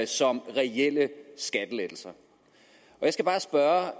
som reelle skattelettelser jeg skal bare spørge